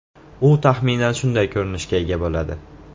U taxminan shunday ko‘rinishga ega bo‘ladi.